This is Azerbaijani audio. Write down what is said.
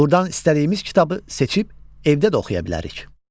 Burdan istədiyimiz kitabı seçib evdə də oxuya bilərik.